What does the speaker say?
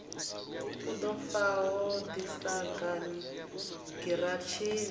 ḓo faho ḓi sagani giratshini